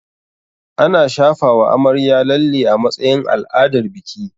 Ana shafawa amarya lalle a matsayin al'adar biki